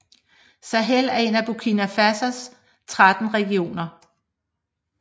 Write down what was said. Sahel er en af Burkina Fasos 13 regioner